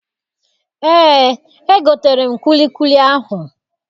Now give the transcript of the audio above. Eé, egotere m kwilikwili ahụ.